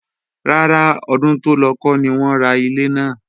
Rárá, ọdún tó lọ kọ́ ni wọ́n ra ilé náà